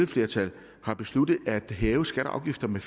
flertal har besluttet at hæve skatter og afgifter med